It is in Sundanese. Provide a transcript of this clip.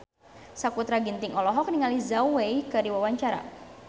Sakutra Ginting olohok ningali Zhao Wei keur diwawancara